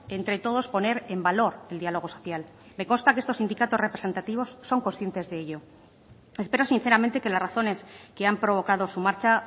entre todos poner en valor el diálogo social me consta que estos sindicatos representativos son conscientes de ello espero sinceramente que las razones que han provocado su marcha